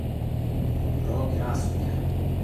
Logiraasujaa.